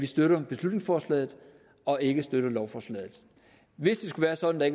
støtter beslutningsforslaget og ikke støtter lovforslaget hvis det skulle være sådan at